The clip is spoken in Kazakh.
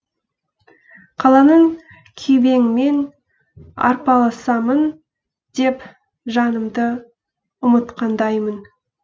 қаланың күйбеңімен арпалысамын деп жанымды ұмытқандаймын